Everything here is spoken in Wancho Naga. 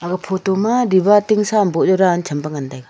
aga photo ma dava tingsa am bow jaw dan tham pe ngan tega.